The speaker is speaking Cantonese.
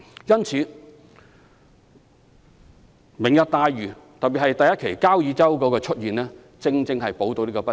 因此"明日大嶼"，特別是第一期的交椅洲項目，正好能彌補這方面的不足。